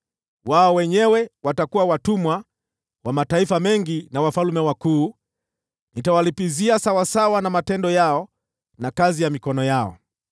Wao wenyewe watakuwa watumwa wa mataifa mengi na wafalme wakuu. Nitawalipizia sawasawa na matendo yao na kazi ya mikono yao.”